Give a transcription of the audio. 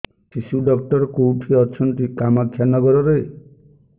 ଶିଶୁ ଡକ୍ଟର କୋଉଠି ଅଛନ୍ତି କାମାକ୍ଷାନଗରରେ